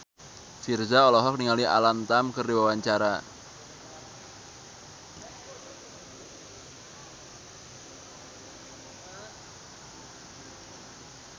Virzha olohok ningali Alam Tam keur diwawancara